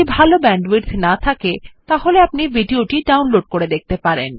যদি ভাল ব্যান্ডউইডথ না থাকে তাহলে আপনি ভিডিও টি ডাউনলোড করে দেখতে পারেন